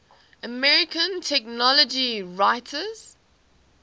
american technology writers